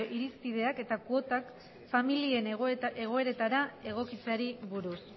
irizpideak eta kuotak familien egoeretara egokitzeari buruz